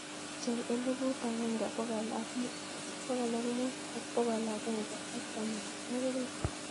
Pchei eliput agenge bokol muut ak bokol agenge ak tamanwagik loo